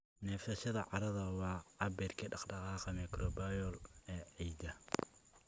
Neefsashada carrada waa cabbirka dhaqdhaqaaqa microbial ee ciidda.